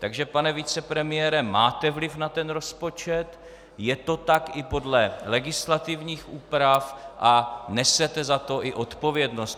Takže pane vicepremiére, máte vliv na ten rozpočet, je to tak i podle legislativních úprav a nesete za to i odpovědnost.